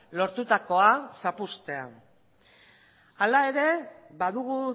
lortutakoa zapuztea hala ere badugu